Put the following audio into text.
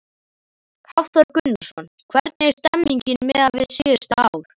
Hafþór Gunnarsson: Hvernig er stemningin miðað við síðustu ár?